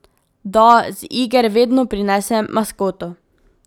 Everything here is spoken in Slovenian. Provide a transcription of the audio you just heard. Da, z iger vedno prinesem maskoto.